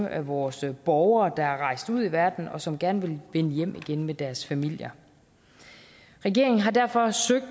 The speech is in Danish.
af vores borgere der er rejst ud i verden og som gerne vil vende hjem igen med deres familier regeringer har derfor søgt